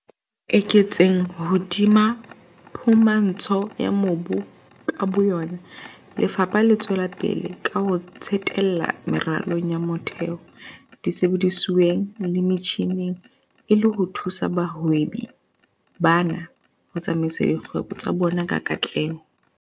Ho eketseng hodima phumantsho ya mobu ka bo yona, lefapha le tswela pele ka ho tsetela meralong ya motheo, disebedisuweng le metjhineng e le ho thusa bahwebi bana ho tsamaisa dikgwebo tsa bona ka katleho.